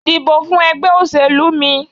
Dìbò fún ègbé òṣèlú mi